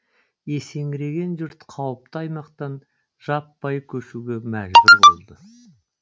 есеңгіреген жұрт қауіпті аймақтан жаппай көшуге мәжбүр болды